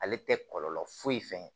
Ale tɛ kɔlɔlɔ foyi fɛn ye